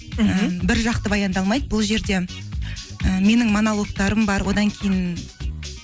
біржақты баяндалмайды бұл жерде і менің монологтарым бар одан кейін